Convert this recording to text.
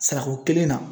Sarako kelen na